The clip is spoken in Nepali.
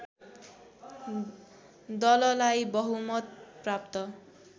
दललाई बहुमत प्राप्त